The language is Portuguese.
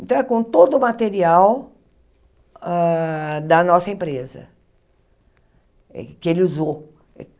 Então, é com todo o material hã da nossa empresa, que ele usou.